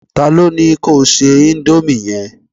ta lo ni ko se Indomie yẹn